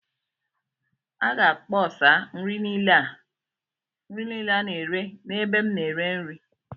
A ga-akpọsa nri niile a na-ere n'ebe m na-ere nri..